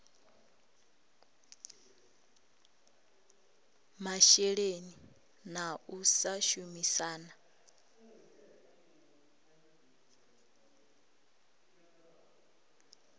masheleni na u sa shumisana